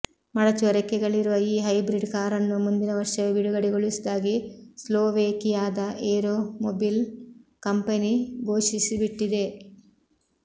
ಮಡಚುವ ರೆಕ್ಕೆಗಳಿರುವ ಈ ಹೈಬ್ರಿಡ್ ಕಾರನ್ನು ಮುಂದಿನ ವರ್ಷವೇ ಬಿಡುಗಡೆಗೊಳಿಸುವುದಾಗಿ ಸ್ಲೊವೇಕಿಯಾದ ಏರೋಮೊಬಿಲ್ ಕಂಪನಿ ಘೋಷಿಸಿಬಿಟ್ಟಿದೆ